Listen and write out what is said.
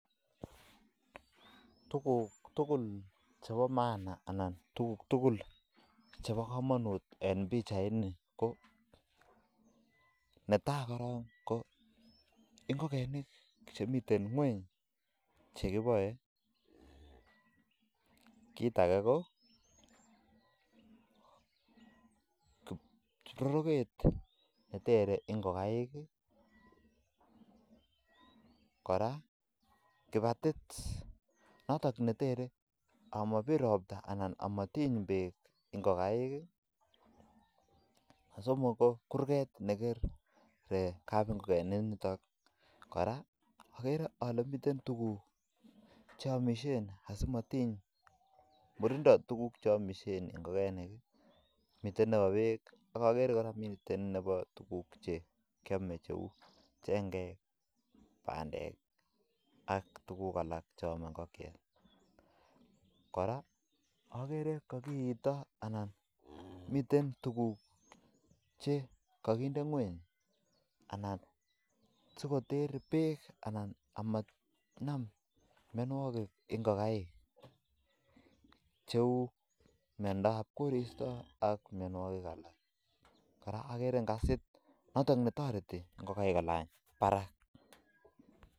Tukuk tugul chebo maana anan chebo kamanut en pichain KO ngokaik chekiboei ak kibatit neribe anan komabir robta ngokekeinik ak kurgret nekikere AK kora oleamishe simanam murindo amitwokik chechotok ko chengek ak tukuk alak chemii cheu chengek ak tukuk alak chetoreti ngokaik manam ropta